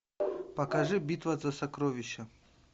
покажи битва за сокровища